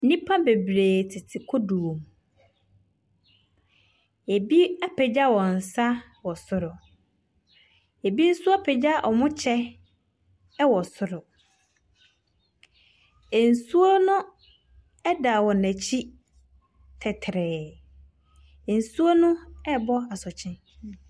Nnipa bebree tete kodoɔm. Ɛbi apagya wɔn nsa wɔ soro. Ɛbi nso apagya ɔmo kyɛ ɛwɔ soro. Ɛnsuo no ɛda wɔn akyi tɛtrɛɛ. Nsuo no ɛɛbɔ asoɔkye.